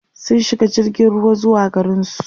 sun shiga jirgin ruwa zuwa garinsu